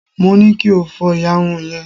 mo ni kí o fó iyarun yrn